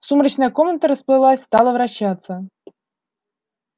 сумрачная комната расплылась стала вращаться